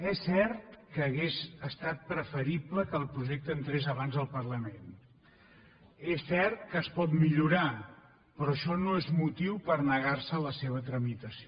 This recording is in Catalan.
és cert que hauria estat preferible que el projecte entrés abans al parlament és cert que es pot millorar però això no és motiu per negarse a la seva tramitació